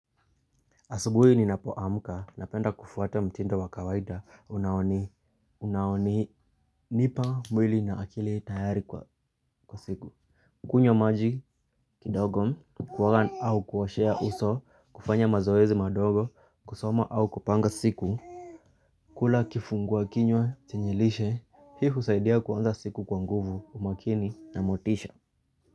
Asubuhi ninapoamka napenda kufuata mtindo wa kawaida unaoni. Nipa mwili na akili tayari kwa siku. Kunywa maji kidogo kuoga au kuoshea uso kufanya mazoezi madogo kusoma au kupanga siku. Kula kifungua kinywa chenye lishe hii husaidia kuanza siku kwa nguvu umakini na motisha.